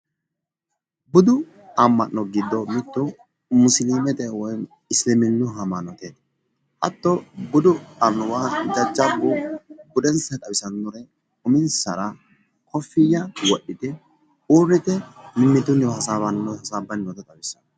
Budu ama'no gede mite musilimete ama'no ikkittanna xa leelittani noonketi, hatte basera mannotu gamba yite mimitu ledo hasaabbani no gedeti